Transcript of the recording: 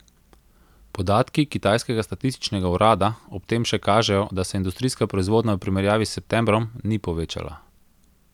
Podatki kitajskega statističnega urada ob tem še kažejo, da se industrijska proizvodnja v primerjavi s septembrom ni povečala.